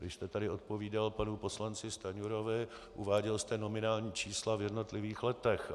Vy jste tady odpovídal panu poslanci Stanjurovi, uváděl jste nominální čísla v jednotlivých letech.